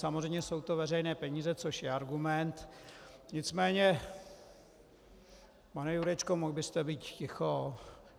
Samozřejmě jsou to veřejné peníze, což je argument, nicméně - pane Jurečko, mohl byste být ticho?